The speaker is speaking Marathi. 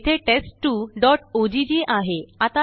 येथेTEST2oggआहे